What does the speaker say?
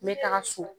Me taga so